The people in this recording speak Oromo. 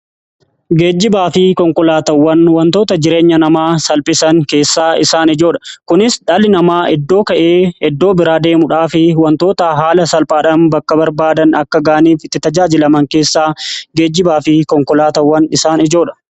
Geejjibaafi konkolaatawwan wantoota jireenya namaa salphisan keessaa isaan ijoodha kunis dhali namaa eddoo ka'ee iddoo biraa deemuudhaa fi wantoota haala salphaadhan bakka barbaadan akka ga'aaniif itti tajaajilaman keessaa geejjibaa fi konkolaatawwan isaan ijoodha.